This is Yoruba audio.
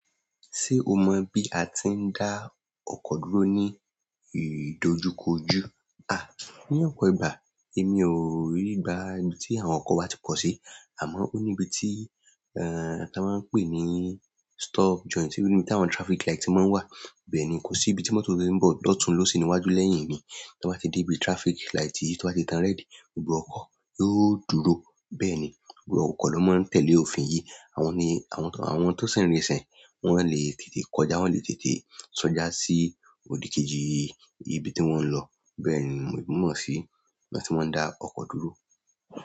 Ṣé o mọ bí a ti ń dá ọkọ dúró ní ìdojúkojú? À, ní ọ̀pọ̀ ìgbà èmi ò rí gbà tí àwọn ọkọ̀ wá ti pọ̀ sí, àmọ́ ó níbi tí, ẹ́, tá máa ń pè é ní stall joint, tí ibi tí àwọn traffic light ti máa ń wà. Bẹ́ẹ̀ ni, kò sí ibi tí mọ́tò tó ń bọ̀ lọ̀tun lọ sí iwájú lẹ́yìn mi. Tí wọ́n bá ti dé ibi traffic light yìí tó bá ti tan rẹ́dì, gbogbo ọkọ̀ yóò dúró. Bẹ́ẹ̀ ni, gbogbo ọkọ̀ ló máa tẹ̀lé òfin yìí. Àwọn ni, àwọn tó si ń rinsẹ̀, wọn le lè tètè kọjá, wọn lè tètè sọ́dà sí òdì kejì ibi tí wọ́n ń lọ. Bẹ́ẹ̀ ni mo mọ sí bí wọ́n ti máa ń dá ọkọ dúró.